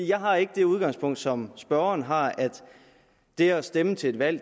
jeg har ikke det udgangspunkt som spørgeren har at det at stemme til et valg